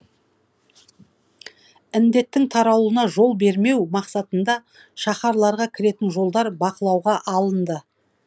індеттің таралуына жол бермеу мақсатында шаһарларға кіретін жолдар бақылауға алынды